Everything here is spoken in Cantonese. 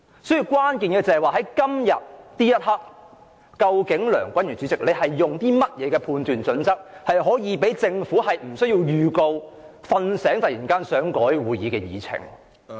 所以，關鍵是在今天這一刻，梁君彥主席是基於甚麼判斷準則，容許政府可無經預告，"睡醒"後突然提出更改會議議程。